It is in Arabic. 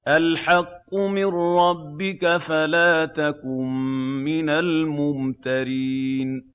الْحَقُّ مِن رَّبِّكَ فَلَا تَكُن مِّنَ الْمُمْتَرِينَ